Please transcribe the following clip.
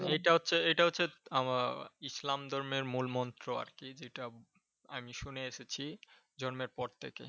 এটা হচ্ছে এটা হচ্ছে ইসলাম ধর্মের মূল মন্ত্র আরকি যেটা আমি শুনে এসেছি জন্মের পর থেকে।